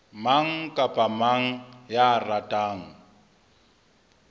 mang kapa mang ya ratang